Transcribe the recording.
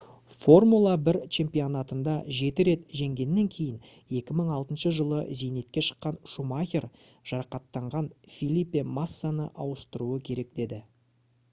formula 1 чемпионатында жеті рет жеңгеннен кейін 2006 жылы зейнетке шыққан шумахер жарақаттанған фелипе массаны ауыстыруы керек еді